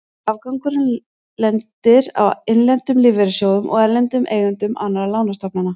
Afgangurinn lendir á innlendum lífeyrissjóðum og erlendum eigendum annarra lánastofnana.